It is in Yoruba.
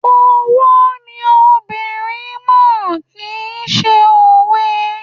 Owó ni obìnrin mọ̀, kì ń ṣe òwe.